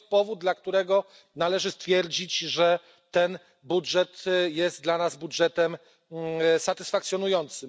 I to jest powód, dla którego należy stwierdzić, że ten budżet jest dla nas budżetem satysfakcjonującym.